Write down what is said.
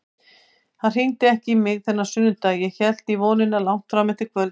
Hann hringdi ekki í mig þennan sunnudag, ég hélt í vonina langt fram á kvöld.